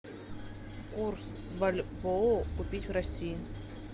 курс бальбоа купить в россии